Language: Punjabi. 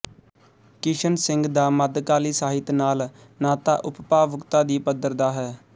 ਕਿਸ਼ਨ ਸਿੰਘ ਦਾ ਮੱਧਕਾਲੀ ਸਾਹਿਤ ਨਾਲ ਨਾਤਾ ਉਪਭਾਵੁਕਤਾ ਦੀ ਪੱਧਰ ਦਾ ਹੈ